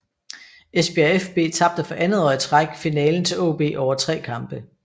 Esbjerg fB tabte for andet år i træk finalen til AaB over tre kampe